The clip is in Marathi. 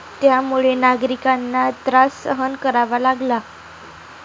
त्यामुळे नागरिकांना त्रास सहन करावा लागला.